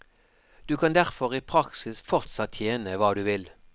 Du kan derfor i praksis fortsatt tjene hva du vil.